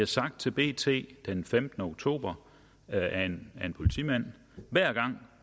sagt til bt den femtende oktober af en politimand hver gang